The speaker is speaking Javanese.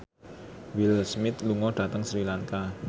Will Smith lunga dhateng Sri Lanka